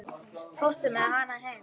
Fórstu með hana heim?